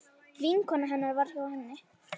Vinkona hennar var hjá henni.